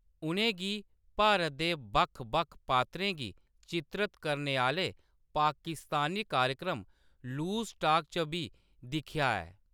उ'नेंगी भारत दे बक्ख-बक्ख पात्रें गी चित्रत करने आह्‌‌‌ले पाकिस्तानी कार्यक्रम लूज़ टॉक च बी दिखेआ ऐ।